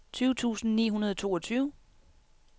tyve tusind ni hundrede og toogtyve